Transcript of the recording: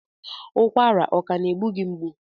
Ụkwara ọ ka na-egbu gị mgbu?